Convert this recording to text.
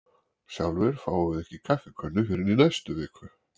Sjálfir fáum við ekki kaffikönnu fyrr en í næstu viku.